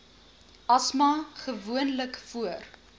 asma gewoonlik voor